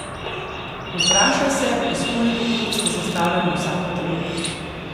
Vprašaj se, iz koliko kock je sestavljeno vsako telo.